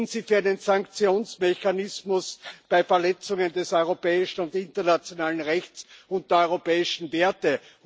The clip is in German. Sind Sie für einen Sanktionsmechanismus bei Verletzungen des europäischen und internationalen Rechts und der europäischen Werte?